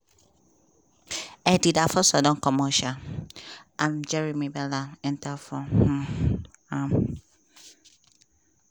eddie afonso don comot um and jeremie bela ent for um am.